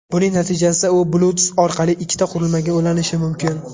Buning natijasida u Bluetooth orqali ikkita qurilmaga ulanishi mumkin.